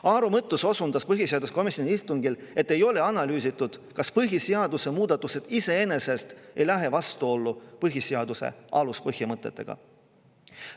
Aaro Mõttus osundas põhiseaduskomisjoni istungil, et ei ole analüüsitud, kas põhiseaduse muudatused iseenesest ei lähe vastuollu põhiseaduse aluspõhimõtetega.